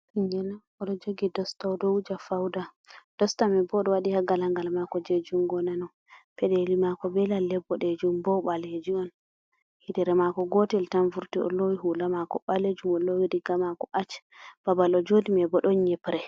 Ɓingel on oɗo jogi dostao oɗo wuja fauda dosta manbo ɗo waɗi ha gala ngal mako je jungo nano. Pedeli mako be lalle bodejum bo obaleji on, yitere mako gotel tan vurti o lowi hula mako ɓalejum o lowi diga mako ash babal o jodi ma bo don nyibre.